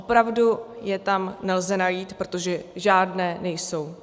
Opravdu je tam nelze najít, protože žádné nejsou.